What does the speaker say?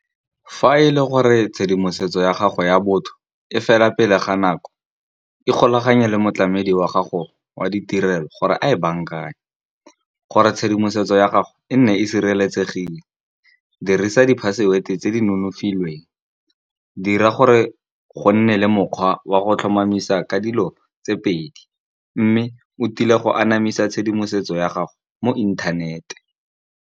Fa e le gore tshedimosetso ya gago ya botho, e fela pele ga nako e kgolaganye le motlamedi wa gago wa ditirelo, gore a e bankanye gore tshedimosetso ya gago e nne e sireletsegile. Dirisa di-password tse di nonofileng dira gore go nne le mokgwa wa go tlhomamisa ka dilo tse pedi, mme o tile go anamisa tshedimosetso ya gago mo inthanete.